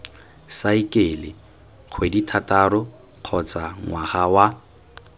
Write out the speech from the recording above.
saekele kgwedithataro kgotsa ngwaga wa